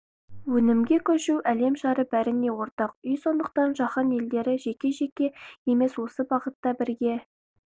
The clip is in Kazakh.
өнімге көшу әлем шары бәріне ортақ үй сондықтан жаһан елдері жеке-жеке емес осы бағытта бірге